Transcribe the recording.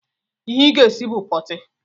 Ihe ị ga-esi bụ pọọtị!